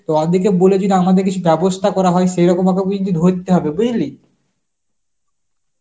তো ওই দিকে বলে যদি আমাদের কিছু ব্যবস্থা করা হয় সেরকমভাবে বুঝলি ধরতে হবে, বুঝলি?